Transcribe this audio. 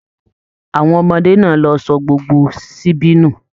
Àwọn ọmọdé náà ló sọ gbogbo síbí nu.